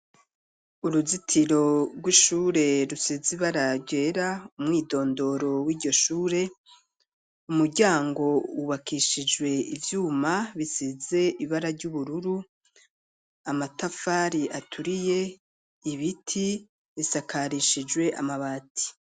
Uruzitiro rw'ishure rusizibaragera umwidondoro w'ijyoshure umuryango ubakishijwe uvyuma bisize ibara ry'ubururu amatafari aturiye ibiti bisakarishijwe amabati.